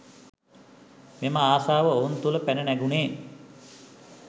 මෙම ආශාව ඔවුන් තුළ පැන නැගුණේ